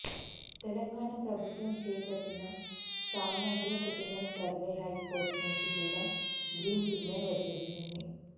తెలంగాణ ప్రభుత్వం చేపట్టిన సమగ్ర కుటుంబ సర్వేకు హైకోర్టు నుంచి కూడా గ్రీన్ సిగ్నల్ వచ్చేసింది